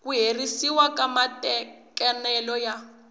ku herisiwa ka matekanelo ya